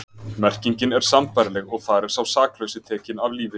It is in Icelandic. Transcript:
Merkingin er sambærileg og þar er sá saklausi tekinn af lífi.